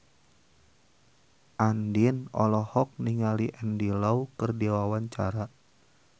Andien olohok ningali Andy Lau keur diwawancara